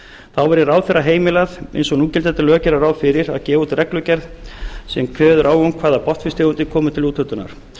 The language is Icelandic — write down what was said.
þá verði ráðherra heimilað eins og núgildandi lög gera ráð fyrir að gefa út reglugerð sem kveður á um hvaða botnfiskstegundir komi til úthlutunar